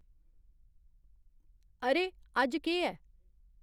अरे अज्ज केह् ऐ